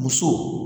Muso